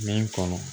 Min kɔnɔ